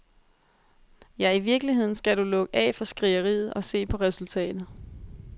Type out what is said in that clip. Ja, i virkeligheden skal du lukke af for skrigeriet og se på resultatet.